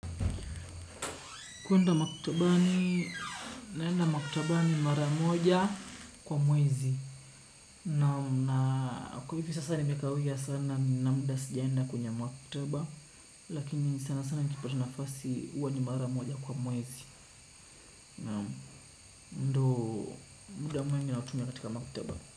Kuenda maktabani, naenda maktabani mara moja kwa mwezi. Naam na kwa hivi sasa nimekawia sana nina muda sijaenda kwenye maktaba. Lakini sana sana nikipata nafasi huwa ni mara moja kwa mwezi. Ndo muda mimi natumia katika maktaba.